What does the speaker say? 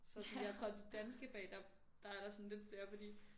Så sådan jeg tror at de danske fag der der er der sådan lidt flere fordi